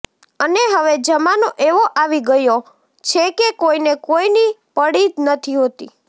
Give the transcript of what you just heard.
અને હવે જમાનો એવો આવી ગયો છે કે કોઈને કોઈની પડી જ નથી હોતી